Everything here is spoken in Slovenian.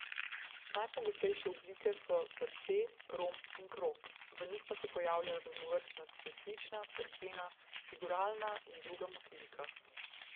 Najpogostejše oblike so srce, romb in krog, v njih pa se pojavlja raznovrstna cvetlična, cerkvena, figuralna in druga motivika.